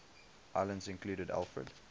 islands included alfred